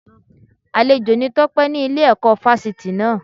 Àlejò ni Tọ́pé ní Ile ẹ̀kọ́ Fásitì náà